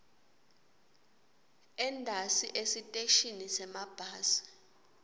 entasi esiteshini semabhasi